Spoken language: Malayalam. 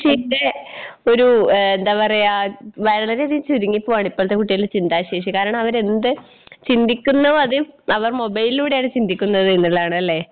എൻ്റെ ഒരു ഏഹ് എന്താ പറയാ വളരെയധികം ചുരുങ്ങിപ്പോവാണ് ഇപ്പൾത്തെ കുട്ടികളുടെ ചിന്താശേഷി കാരണവരെന്ത് ചിന്തിക്കുന്നു ആദ്യം അവർ മൊബൈലിലൂടെയാണ് ചിന്തിക്കുന്നത് എന്നുള്ളതാണ് അല്ലെ?